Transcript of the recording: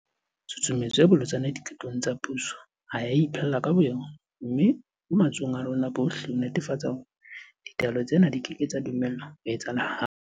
Tshusumetso e bolotsana diqetong tsa puso ha e a iphella ka bo yona. Mme ho matsohong a rona bohle ho netefatsa hore ditlwaelo tsena di keke tsa dumellwa ho etsahala hape.